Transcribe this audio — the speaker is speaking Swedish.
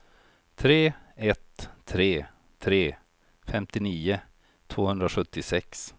tre ett tre tre femtionio tvåhundrasjuttiosex